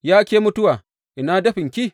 Ya ke mutuwa, ina dafinki?